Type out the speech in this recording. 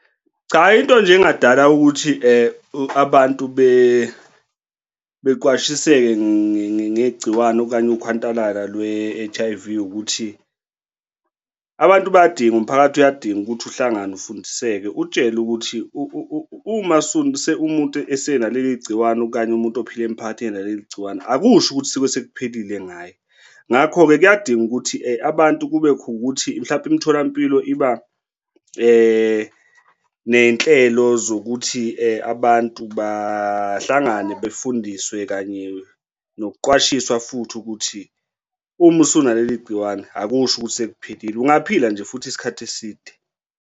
Cha. into nje engadala ukuthi abantu beqwashiseke ngegciwane okanye ukhwantalala lwe-H_I_V, ukuthi abantu bayadinga, umphakathi uyadinga ukuthi uhlangane ufundiseke utshelwe ukuthi uma umuntu esenaleli gciwane okanye umuntu ophila emphakathini ngaleli gciwane akusho ukuthi usuke sekuphelile ngawe. Ngakho-ke kuyadinga ukuthi abantu kube khona ukuthi mhlampe imitholampilo iba ney'nhlelo zokuthi abantu bahlangane befundiswe kanye nokuqwashiswa futhi ukuthi uma usunaleli gciwane akusho ukuthi sekuphelile, ungaphila nje futhi isikhathi eside.